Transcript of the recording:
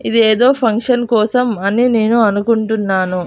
ఇది ఏదో ఫంక్షన్ కోసం అని నేను అనుకుంటున్నాను.